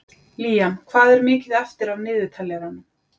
Liam, hvað er mikið eftir af niðurteljaranum?